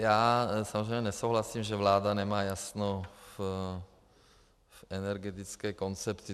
Já samozřejmě nesouhlasím, že vláda nemá jasno v energetické koncepci.